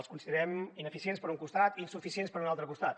els considerem ineficients per un costat i insuficients per un altre costat